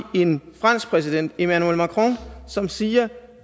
en fransk præsident emmanuel macron som siger